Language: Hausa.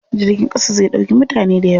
Jirgin ƙasa zai ɗauki mutane dayawa.